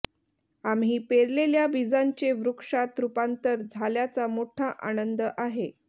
आम्ही पेरलेल्या बिजांचे वृक्षात रूपांतर झाल्याचा मोठा आनंद आहे